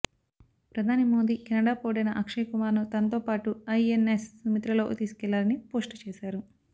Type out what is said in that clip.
ప్రధాని మోదీ కెనడా పౌరుడైన అక్షయ్ కుమార్ ను తనతో పాటు ఐఎన్ఎస్ సుమిత్రలో తీసుకెళ్లారని పోస్ట్ చేశారు